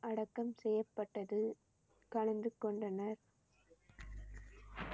அடக்கம் செய்யப்பட்டது கலந்து கொண்டனர்